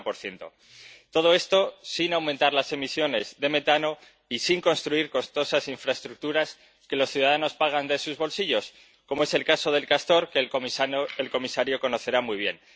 40 Todo esto sin aumentar las emisiones de metano y sin construir costosas infraestructuras que los ciudadanos pagan de sus bolsillos, como es el caso de Castor, que el comisario conocerá muy bien.